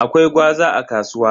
Akwai gwaza a kasuwa.